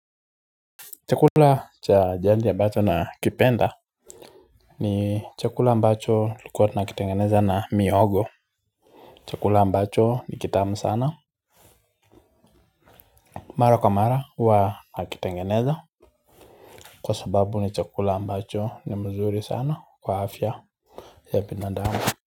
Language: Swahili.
Chakula cha jandi ambacho nakipenda ni chakula mbacho tulikuwa tunakitengeneza na mihogo Chakula ambacho ni kitamu sana Mara kamara huwa nakitengeneza Kwa sababu ni chakula ambacho ni mzuri sana kwa afya ya binadamu.